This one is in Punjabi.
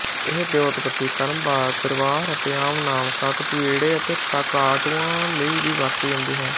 ਇਹ ਵਿਉਤਪੱਤੀ ਕ੍ਰਮਵਾਰ ਪਰਿਵਾਰ ਅਤੇ ਆਮ ਨਾਮ ਕਾਕਟੂਇਡੇ ਅਤੇ ਕਕਾਟੂਆ ਲਈ ਵੀ ਵਰਤੀ ਜਾਂਦੀ ਹੈ